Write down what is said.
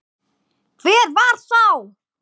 Hver var sá?